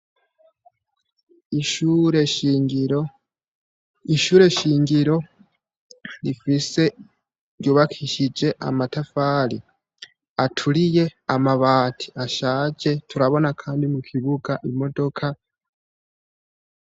Ishure shingiro rifise ryubakishije amatafari aturiye amabati ashaje turabona, kandi mu kibuga imodoka.